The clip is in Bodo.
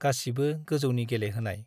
गासिबो गोजौनि गेलेहोनाय ।